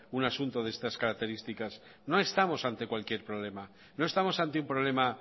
un asunto de estas características no estamos ante cualquier problema no estamos ante un problema